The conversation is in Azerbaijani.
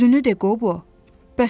Üzünü de, Qobo.